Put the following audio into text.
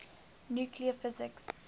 nuclear physics